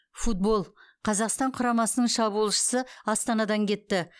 футбол қазақстан құрамасының шабуылшысы астанадан кетті